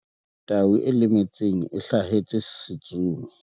tau e lemetseng e hlasetse setsomi